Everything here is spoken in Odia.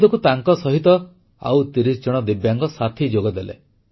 ଦେଖୁ ଦେଖୁ ତାଙ୍କସହିତ ଆଉ ତିରିଶଜଣ ଦିବ୍ୟାଙ୍ଗ ସାଥି ଯୋଗଦେଲେ